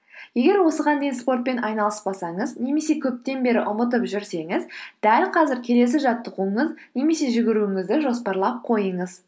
егер осыған дейін спортпен айналыспасаңыз немесе көптен бері ұмытып жүрсеңіз дәл қазір келесі немесе жүгіруіңізді жоспарлап қойыңыз